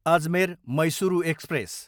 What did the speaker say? Ajmer, Mysuru express